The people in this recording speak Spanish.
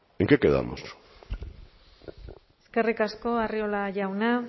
en qué quedamos eskerrik asko arriola jauna